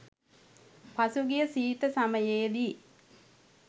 පසු ගිය සීත සමයේදී